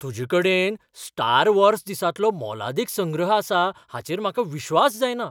तुजे कडेन Star Wars दिसांतलो मोलादीक संग्रह आसा हाचेर म्हाका विश्वास जायना.